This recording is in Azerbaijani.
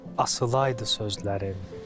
Asılaydı sözlərim.